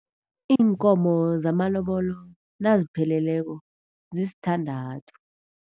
Iinkomo zamalobolo nazipheleleko zisithandathu.